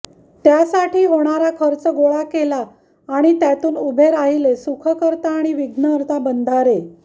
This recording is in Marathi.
त्यासाठी होणारा खर्च गोळा केला आणि त्यातून उभे राहिले सुखकर्ता आणि विघ्नहर्ता बंधारे